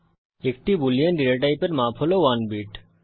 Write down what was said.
একটি Boolean data টাইপের মাপ হল 1 বিট